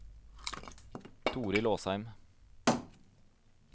Torild Åsheim